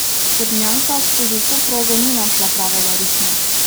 Črnjanka skozi vso progo ni našla pravega ritma.